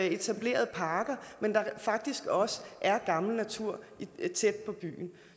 etablerede parker men faktisk også er gammel natur tæt på byen